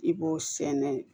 I b'o sɛnɛ